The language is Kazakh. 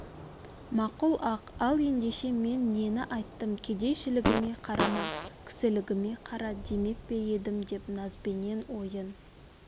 мақұл-ақ ал ендеше мен нені айттым кедейшілігіме қарама кісілігіме қара демеп пе едім деп назбенен ойын